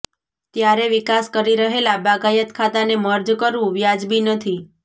ત્યારે વિકાસ કરી રહેલા બાગાયત ખાતાને મર્જ કરવું વ્યાજબી નથી